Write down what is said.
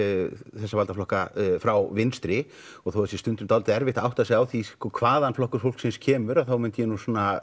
þessa valdaflokka frá vinstri og þó það sé stundum dálítið erfitt að átta sig á því hvaðan Flokkur fólksins kemur þá myndi ég